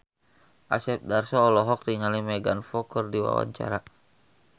Asep Darso olohok ningali Megan Fox keur diwawancara